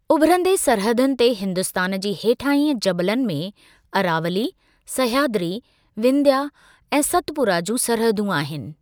उभिरंदे सरहदुनि ते हिन्दुस्तान जे हेठाहीं जबलनि में अरावली, सहयादरी, विंध्या ऐं सतपुरा जूं सरहदूं आहिनि।